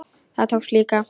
Það tókst líka.